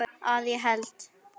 Að ég held.